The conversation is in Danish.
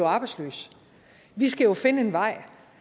arbejdsløs vi skal jo finde en vej